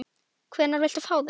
Hvenær viltu fá þau?